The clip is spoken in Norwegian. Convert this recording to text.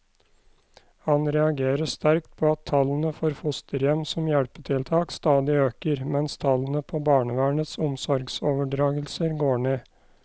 Han reagerer sterkt på at tallene for fosterhjem som hjelpetiltak stadig øker, mens tallene på barnevernets omsorgsoverdragelser går ned.